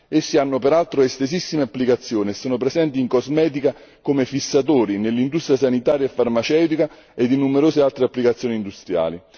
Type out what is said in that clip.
Essi hanno peraltro estesissime applicazioni e sono presenti in cosmetica come fissatori, nell'industria sanitaria e farmaceutica ed in numerose altre applicazioni industriali.